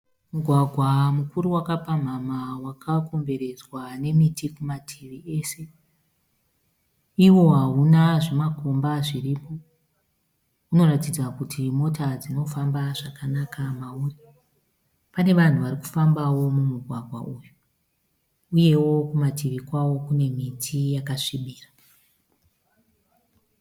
Mugwagwa mukuru waka pamhamha waka komberedzwa nemiti kumativi ese. Iwo hauna zvimakomba zviripo. Unoratidza kuti mota dzinofamba zvakanaka mauri. Pane vanhu varikufambawo mumugwagwa uyu. Uyewo kumativi kwawo kune miti yakasvibira.